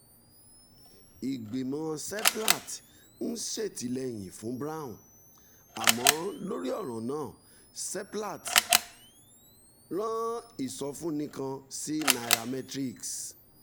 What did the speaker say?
ìgbìmọ̀ seplat ń ṣètìlẹ́yìn fún brown: àmọ́ lórí ọ̀ràn náà seplat rán ìsọfúnni kan sí nairametrics